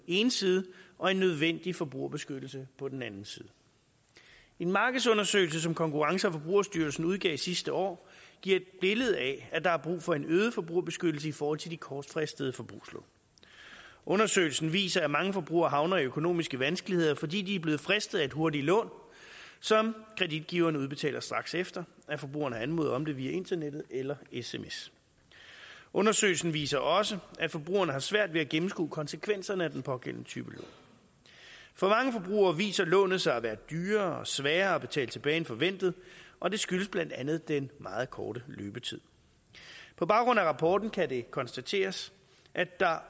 ene side og en nødvendig forbrugerbeskyttelse på den anden side en markedsundersøgelse som konkurrence og forbrugerstyrelsen udgav sidste år giver et billede af at der er brug for en øget forbrugerbeskyttelse i forhold til de kortfristede forbrugslån undersøgelsen viser at mange forbrugere havner i økonomiske vanskeligheder fordi de er blevet fristet af et hurtigt lån som kreditgiverne udbetaler straks efter at forbrugerne har anmodet om det via internettet eller sms undersøgelsen viser også at forbrugerne har svært ved at gennemskue konsekvenserne af den pågældende type lån for mange forbrugere viser lånet sig at være dyrere og sværere at betale tilbage end forventet og det skyldes blandt andet den meget korte løbetid på baggrund af rapporten kan det konstateres at der